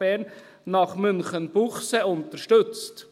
Bern nach Münchenbuchsee unterstützt.